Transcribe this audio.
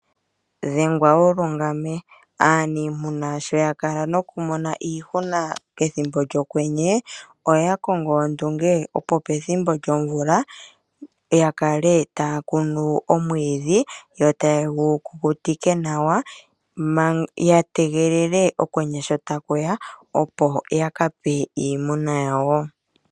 Dhengwa wulungame aaniimuna sho yakala nokumona iihuna pethimbo lyokwenye, oya kongo ondunge opo pethimbo lyomvula yakale taya kunu omwiidhi yo tayegu kukutike nawa yategelele okwenye sho takuya opo yakape iimuna yawo.